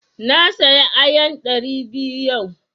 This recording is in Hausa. Na saya ayan ɗari biyu yau.